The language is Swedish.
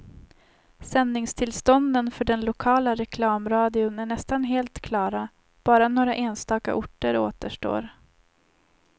Sändningstillstånden för den lokala reklamradion är nästan helt klara, bara några enstaka orter återstår.